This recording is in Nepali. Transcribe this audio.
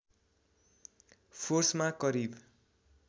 फोर्समा करिब